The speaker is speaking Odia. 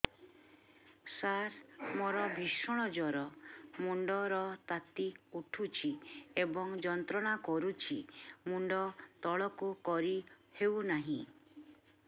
ସାର ମୋର ଭୀଷଣ ଜ୍ଵର ମୁଣ୍ଡ ର ତାତି ଉଠୁଛି ଏବଂ ଯନ୍ତ୍ରଣା କରୁଛି ମୁଣ୍ଡ ତଳକୁ କରି ହେଉନାହିଁ